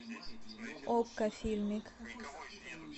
окко фильмик